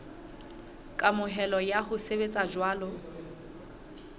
kamohelo ya ho sebetsa jwalo